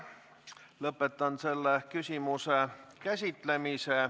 Lõpetan selle küsimuse käsitlemise.